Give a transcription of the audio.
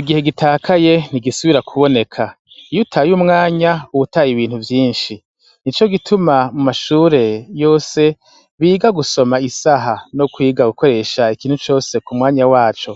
Igihe gitakaye ntigisubira kuboneka. Iyutaye umwanya utaye ibintu vyinshi. Nico gituma mu mashure yose biga gusoma isaha no kwiga gukoresha ikintu cose ku mwanya waco